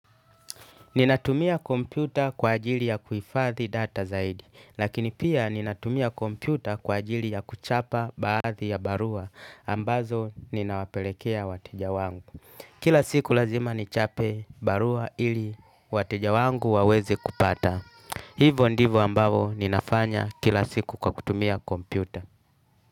Ninatumia kompyuta kwa ajili ya kuhifadhi data zaidi, lakini pia ninatumia kompyuta kwa ajili ya kuchapa baadhi ya barua, ambazo ninawapelekea wateja wangu. Kila siku lazima nichape barua ili wateja wangu waweze kupata. Hivo ndivo ambavo ninafanya kila siku kwa kutumia kompyuta.